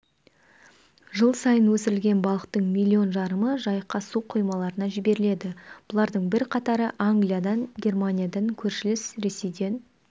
жыл сайын өсірілген балықтың миллион жарымы жайыққа су қоймаларына жіберіледі бұлардың бірқатары англиядан германиядан көршілес ресейден